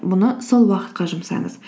мұны сол уақытқа жұмсаңыз